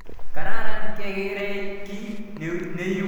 Karan kekerei kiy neipu EdTech nepo kamanut